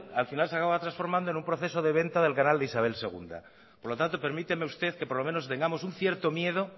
al final se acababa transformando en un proceso de venta del canal de isabel segundo por lo tanto permíteme usted que por lo menos tengamos un cierto miedo